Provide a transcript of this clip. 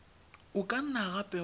o ka nna gape wa